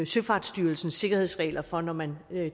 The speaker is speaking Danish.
søfartsstyrelsens sikkerhedsregler for når man